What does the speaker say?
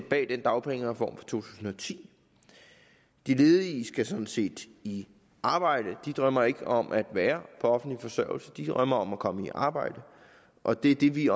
bag den dagpengereform fra tusind og ti de ledige skal sådan set i arbejde de drømmer ikke om at være på offentlig forsørgelse de drømmer om at komme i arbejde og det er det vi